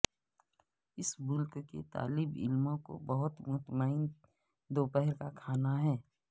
اس ملک کے طالب علموں کو بہت مطمئن دوپہر کا کھانا ہے